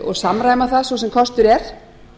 og samræma það svo sem kostur er